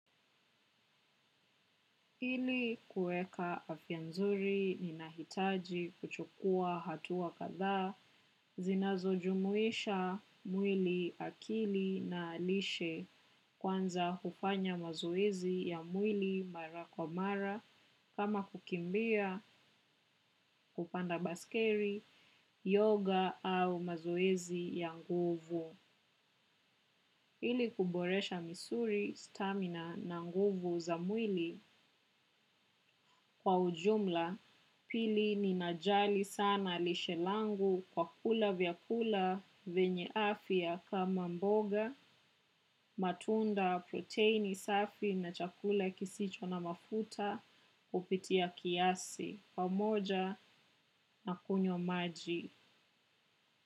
Ili kueka afya nzuri ninahitaji kuchukua hatua kadhaa zinazojumuisha mwili akili na lishe kwanza kufanya mazoezi ya mwili mara kwa mara kama kukimbia kupanda baiskeli, yoga au mazoezi ya nguvu. Ili kuboresha misuli, stamina na nguvu za mwili kwa ujumla pili ninajali sana lishe langu kwa kula vyakula venye afya kama mboga, matunda, proteini safi na chakula kisicho na mafuta kupitia kiasi kwa moja na kunywa maji.